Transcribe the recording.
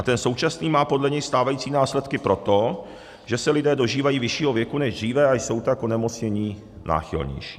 A ten současný má podle něj stávající následky proto, že se lidé dožívají vyššího věku než dříve, a jsou tak k onemocnění náchylnější.